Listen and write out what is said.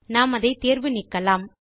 நாம் அதை தேர்வு நீக்கலாம்